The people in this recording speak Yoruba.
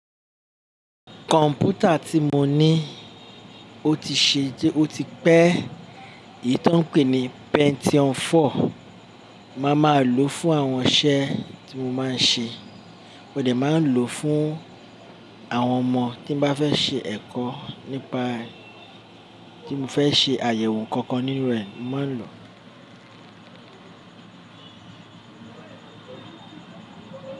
Kọ̀m̀pútà tí mo ní o ti ṣe iti o ti pẹ́ èyí tí wọ́n pè ní Pentium 4, màá máa lò ó fún àwọn iṣẹ́ tí mo máa ń ṣe. Mo dẹ̀ máa lò ó fún àwọn ọmọ tí mo bá fẹ́ ṣe ẹ̀kọ́ nípa tí mo fẹ́ ṣe àyẹ̀wò nǹkan kan nínú rẹ̀ ń máa lò ó.